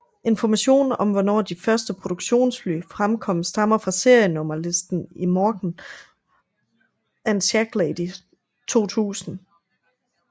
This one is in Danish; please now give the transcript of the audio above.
Information om hvornår de første produktionsfly fremkom stammer fra serienummer listen i Morgan and Shacklady 2000